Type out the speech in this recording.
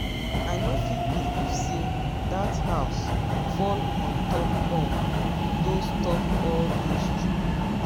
i no fit believe say dat house fall on top all those top all those children